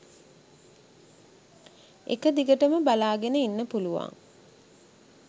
එක දිගටම බලාගෙන ඉන්න පුළුවන්